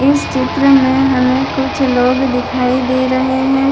इस चित्र में हमें कुछ लोग दिखाई दे रहें हैं।